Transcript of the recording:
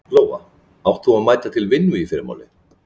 Lóa: Átt þú að mæta til vinnu í fyrramálið?